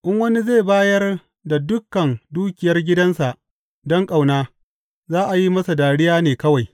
In wani zai bayar da dukan dukiyar gidansa don ƙauna, za a yi masa dariya ne kawai.